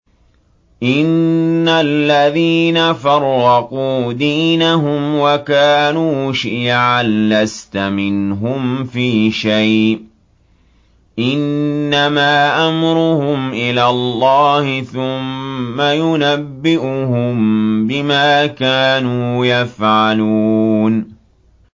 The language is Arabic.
إِنَّ الَّذِينَ فَرَّقُوا دِينَهُمْ وَكَانُوا شِيَعًا لَّسْتَ مِنْهُمْ فِي شَيْءٍ ۚ إِنَّمَا أَمْرُهُمْ إِلَى اللَّهِ ثُمَّ يُنَبِّئُهُم بِمَا كَانُوا يَفْعَلُونَ